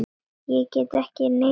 Ég get ekki neitað því.